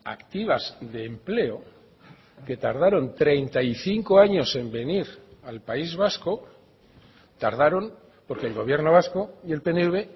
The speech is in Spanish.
activas de empleo que tardaron treinta y cinco años en venir al país vasco tardaron porque el gobierno vasco y el pnv